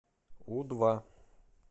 у два